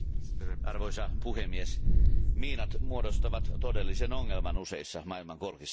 Arvoisa puhemies, miinat muodostavat todellisen ongelman useissa maailmankolkissa.